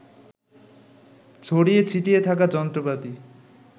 ছড়িয়ে ছিটিয়ে থাকা যন্ত্রপাতি